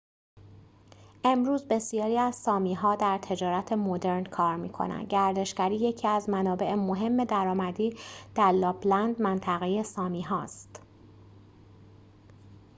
امروز بسیاری از سامی‌ها در تجارت مدرن کار می‌کنند گردشگری یکی از منابع مهم درآمدی در لاپ‌لند منطقه سامی‌ها است